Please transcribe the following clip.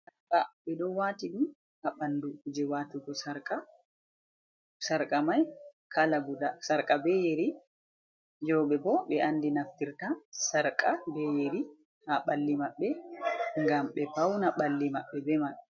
Sarka, ɓe ɗon waati ɗum haa ɓandu kuje waatugo sarka. Sarka mai kala guda... sarka be yeri, rowɓe bo ɓe andi naftirta sarka be yeri haa ɓalli maɓɓe ngam ɓe fauna ɓalli maɓɓe be mai.